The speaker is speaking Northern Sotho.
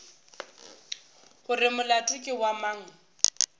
gore molato ke wa mang